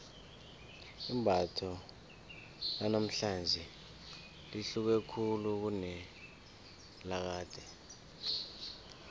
imbatho lanamhlanje lihluke khulu kunelakade